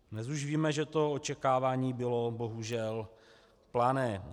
Dnes už víme, že to očekávání bylo bohužel plané.